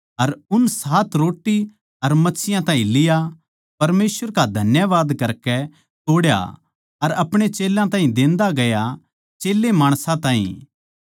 अर उन सात रोट्टी अर मच्छियाँ ताहीं लिया परमेसवर का धन्यवाद करकै तोड्या अर अपणे चेल्यां ताहीं देन्दा गया चेल्लें माणसां ताहीं